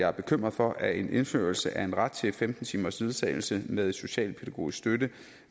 er bekymret for at en indførelse af en ret til femten timers ledsagelse med socialpædagogisk støtte